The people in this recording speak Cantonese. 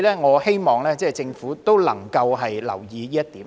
我希望政府能夠留意這點。